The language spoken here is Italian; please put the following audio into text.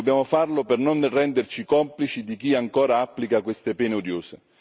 Dobbiamo farlo per non renderci complici di chi ancora applica queste pene odiose.